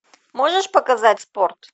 можешь показать спорт